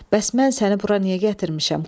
Bəs mən səni bura niyə gətirmişəm?